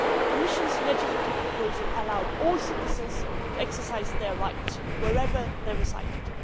The Commission's legislative proposal allowed all EU citizens to exercise their right, wherever they resided.